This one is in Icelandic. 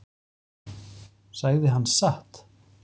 Sagði hann satt?